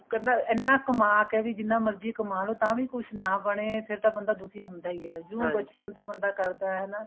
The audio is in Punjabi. ਕਹਿੰਦਾ ਇੰਨਾ ਕਮਾ ਕੇ ਵੀ ਜਿੰਨਾ ਮਰਜ਼ੀ ਕਮਾ ਲੋ ਤਾਂ ਵੀ ਕੁੱਝ ਨਾ ਬਣੇ ਫ਼ੇਰ ਤਾਂ ਬੰਦਾ ਦੁਖੀ ਹੁੰਦਾ ਹੀ ਹੈ ਜਿਵੇਂ ਬਚਪਨ ਤੋਂ ਬੰਦਾ ਕਰਦਾ ਹੈ ਹਨਾ